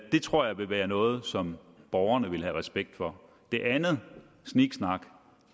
det tror jeg vil være noget som borgerne vil have respekt for det andet sniksnak